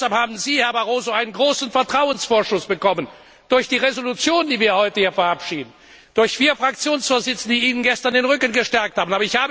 Deshalb haben Sie, Herr Barroso, einen großen Vertrauensvorschuss bekommen durch die Entschließung, die wir heute hier verabschieden, und durch vier Fraktionsvorsitzende, die Ihnen gestern den Rücken gestärkt haben.